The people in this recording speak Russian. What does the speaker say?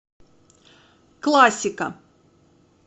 классика